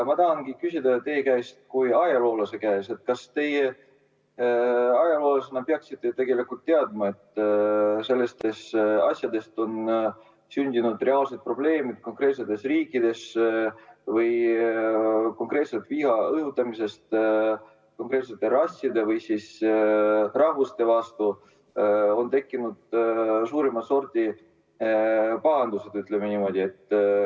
Ma tahangi küsida teie kui ajaloolase käest, et teie ajaloolasena peaksite tegelikult teadma, et sellistest asjadest on sündinud reaalseid probleeme konkreetsetes riikides ja et viha õhutamisest konkreetsete rasside või rahvuste vastu on tekkinud suurimat sorti pahandusi, ütleme niimoodi.